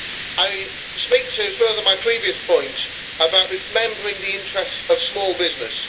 I speak to further my previous point about remembering the interests of small business.